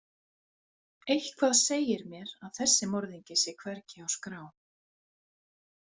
Eitthvað segir mér að þessi morðingi sé hvergi á skrá.